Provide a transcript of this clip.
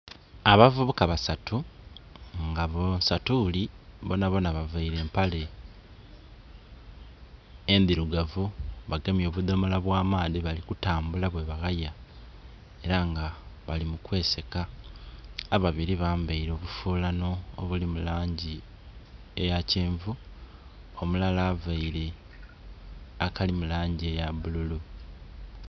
Abavubuka basatu nga bonsatuli bonabona baveire empale endhirugavu, bagemye obudhomola bwa maadhi bali ku tambula bwe baghaya era nga bali mu kwe seeka, ababiri bambeire obufulano obuli mu langi eya kyenvu omulala aveire akali mu langi eya bululu.